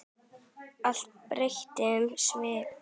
Allt breytti um svip.